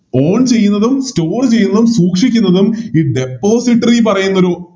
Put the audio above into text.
On ചെയ്യുന്നതും Store ചെയ്യുന്നതും സൂക്ഷിക്കുന്നതും ഈ Depository പറയുന്നൊരു